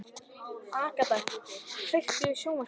Agata, kveiktu á sjónvarpinu.